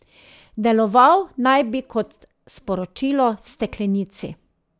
Deloval naj bi kot sporočilo v steklenici.